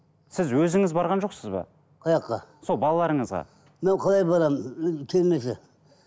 сіз өзіңіз барған жоқсыз ба сол балаларыңызға мен қалай барамын ы келмесе